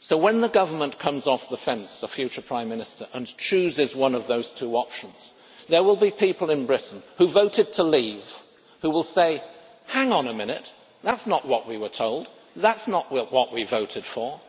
So when the Government, or the future Prime Minister, comes off the fence and chooses one of those two options, there will be people in Britain, who voted to leave, who will say Hang on a minute that is not what we were told, that is not what we voted for.'